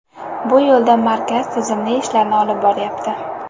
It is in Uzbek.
Bu yo‘lda markaz tizimli ishlarni olib boryapti”.